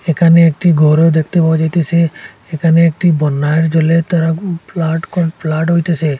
এখানে একটি গরও দেখতে পাওয়া যাইতেছে এখানে একটি বন্যার জলের তারা খুব ফ্লাড কর ফ্লাড হইতাসে।